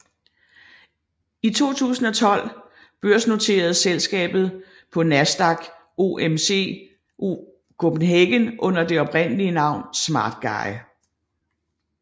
I 2012 børsnoteres selskabet på Nasdaq OMX Copenhagen under det oprindelige navn SmartGuy